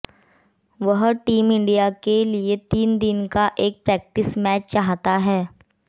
वह team India के लिए तीन दिन का एक प्रैक्टिस मैच चाहता है